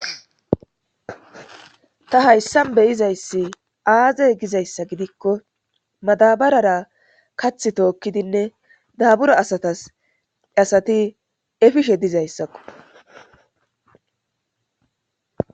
ta hayssan beyizayssi aazey gizayssa gidikko madabarara kath tookkidinne daabura asatas asati efishe dizayssakko